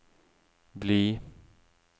bli